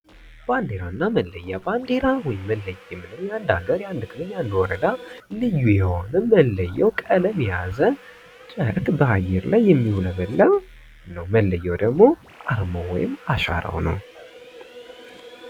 ባንዲራ እና መለያ ባንዲራ ወይም መለያ የምንለው የአንድ ሀገር የአንድ ክልል የአንድ ወረዳ ልዩ የሆነ መለያ እና መለያው ቀለም የያዘ ጨረቅ በአየር ላይ የሚውለበለብ ነው። መለያው ደግሞ አርማው ወይም አሻራው ነው።